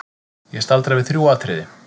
Ég staldra við þrjú atriði.